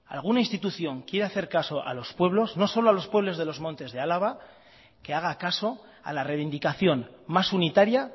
alguna institución quiere hacer casos a los pueblos no solo a los pueblos de los montes de álava que haga caso a la reivindicación más unitaria